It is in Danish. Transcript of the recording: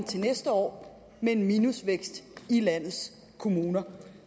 til næste år med en minusvækst i landets kommuner